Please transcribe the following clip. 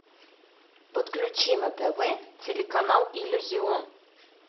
подключи на тв телеканал иллюзион